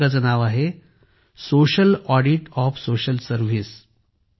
पुस्तकाचे नाव आहे social audit of social service